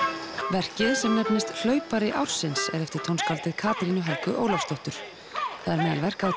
verkið sem nefnist hlaupari ársins er eftir Katrínu Helgu Ólafsdóttur það er meðal verka